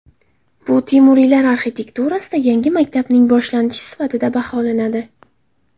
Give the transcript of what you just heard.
Bu Temuriylar arxitekturasida yangi maktabning boshlanishi sifatida baholanadi.